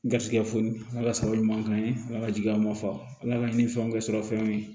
Garisigɛ foni ala ka sababu ɲuman k'an ye ala ka jigiya ma fa ala ka ni fɛnw kɛ sɔrɔ fɛnw ye